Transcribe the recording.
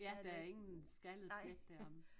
Ja der er ingen skaldet plet deromme